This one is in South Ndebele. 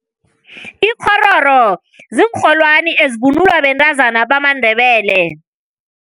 Ikghororo ziinrholwani ezivunulwa bentazana bamaNdebele.